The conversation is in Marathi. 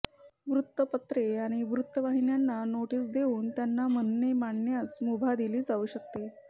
वृत्तपत्रे आणि वृतवाहिन्यांंना नोटीस देवून त्यांना म्हणणे मांडण्यास मुभा दिली जाऊ शकते